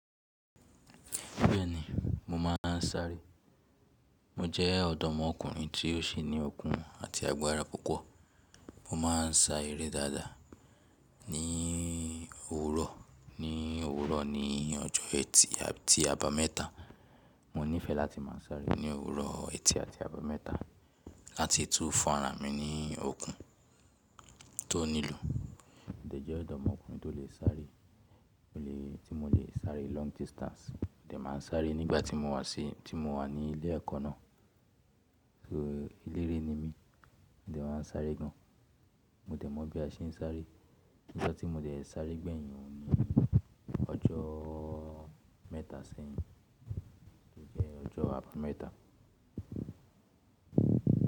Bẹ́ẹ̀ni, mo máa ń sáré. Mo jẹ́ ọ̀dọ́mọkùnrin tí ó sì ní okun àti agbára púpọ̀. Mo máa ń sá eré dáadáa ní òwúrọ̀, ní òwúrọ̀ ní ọjọ́ ẹtì àti àbámẹ́ta. Mo nífẹẹ́ láti máa sáré ní òwúrọ̀ ẹtì àti àbámẹ́ta láti tú fún ara mi ní okun tó nílò. Dẹ̀jẹ́ ọ̀dọ́mọkùnrin tó lè sáré, mo lè tí mo lè sáré long distance. Mo dẹ̀ máa ń sáré nígbà tí mo wà sí tí mo wà ní ilé ẹ̀kọ́ náà. So eléré ni mí, mo dẹ̀ máa ń sáré gan. Mo dẹ̀ mọ̀ bí a ṣe ń sáré. Ijo tí mo dẹ̀ sáré gbẹ̀yìn òun ni ọjọ́ mẹ́ta sẹ́yìn, tó jẹ́ ọjọ́ àbámẹ́ta.